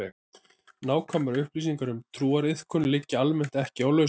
Nákvæmar upplýsingar um trúariðkun liggja almennt ekki á lausu.